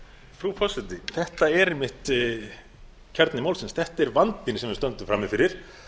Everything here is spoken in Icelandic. frú forseti þetta er einmitt kjarni málsins þetta er vandinn sem við stöndum frammi fyrir